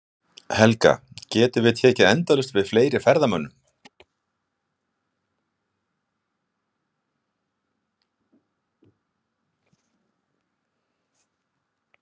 Helga, getum við tekið endalaust við fleiri ferðamönnum?